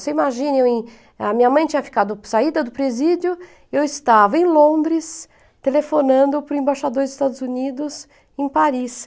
Você imagina, eu em a minha mãe tinha saído do presídio, eu estava em Londres, telefonando para o embaixador dos Estados Unidos em Paris.